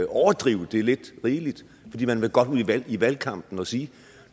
overdrive det lidt rigeligt fordi man godt vil i valgkampen og sige